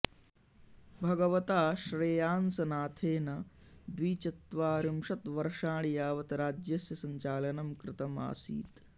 भगवता श्रेयांसनाथेन द्विचत्वारिंशत्वर्षाणि यावत् राज्यस्य सञ्चालनं कृतम् आसीत्